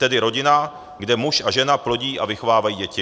Tedy rodina, kde muž a žena plodí a vychovávají děti.